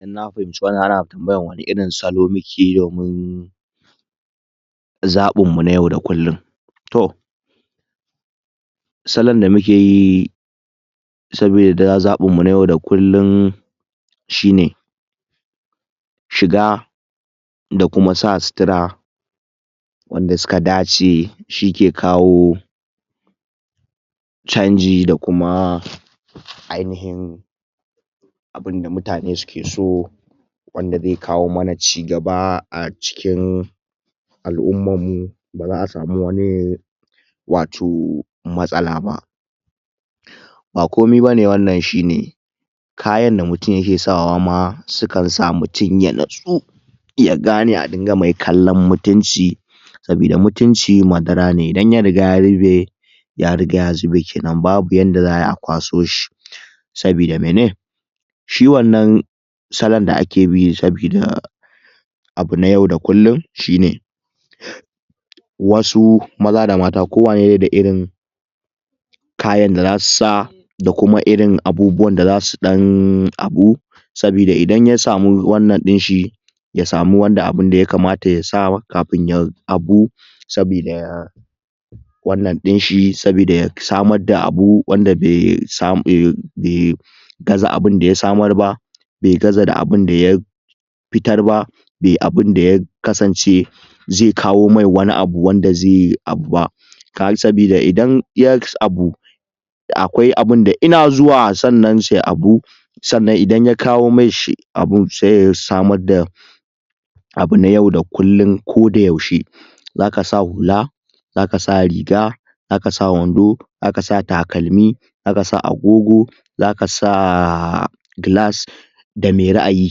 inna fahimci wanna ana tambaya ne akan wane irin salo mukeyi domin zabin mu na yau da kullin to salon da mukeyi sabida zabin mu na yau da kullin shine shiga da kuma sa sutura wanda suka dace shike kawo chanji da kuma ainahin abinda mutane suke so wanda zai kawo mana cigaba a cikin al'ummar mu da za'a samu wani wato matsala ba ba kome bane wannan shine kayan da mutum yake sawa ma sukan sa mutum ya natsu ya gane a dinga mai kallon mutunci sabida mutunci madara ne idan ya riga ya zube ya riga ya zube kenan babu yanda za'ai a kwaso shi sabida mene shi wannan salon da akebi sabida abu na yau da kullin shine wasu maza da mata kowane dai da irin kayan da zasu sa da kuma irinabubuwan da zasu dan abu sabida idan ya samu wannan dinshi ya samu wanda abinda ya kamata ya sa sabida abu sabida wannan dinshi sabida ya samar da abu wanda bai kaga abinda ya samar ba bai gaza da abinda ya fitar ba bai abinda ya kasance zai kawo mai wani abu wanda zai abuba sabida idanya abu akwai abinda sannan sai a abu sannan idan ya kawo ami shi abun sai ya samar da abu na yau da kullin koda yaushe zaka sa hula za kasa riga zaka sa wando zakasa takalmi zakasa agogo zakasa glass ga mai ra'ayi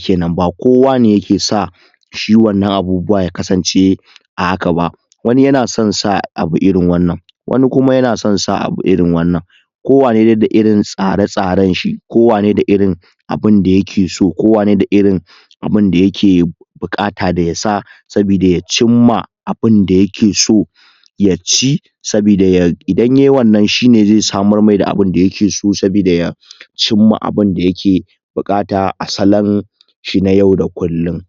kenan ba kowane yake sa shi wadannan abubuwa ya kasance a haka ba wanin yana son sa abu irin wannan wani kuma yana son sa abu irin wannan ko wane dai da irin tsare tsaren shi ko wane da irin abinda yake so ko wane da irin abida yake da bukata yasa sabida ya cimma abinda yake so ya ci sabida idan yayi wannan shine zai samar mai da abinda yake so sabida ya cimma abinda yake da bukata a salon shi na yau da kullin